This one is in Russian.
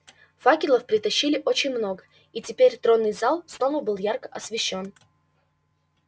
факелов притащили очень много и теперь тронный зал снова был ярко освещён